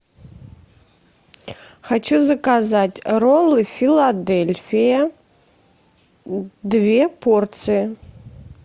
хочу заказать роллы филадельфия две порции